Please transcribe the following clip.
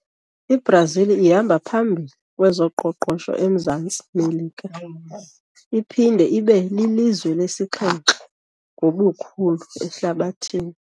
I-Brazil ihamba phambili kwezoqoqosho eMzantsi Melika iphinde ibe lilizwe lesixhenxe ngobukhulu ehlabathini.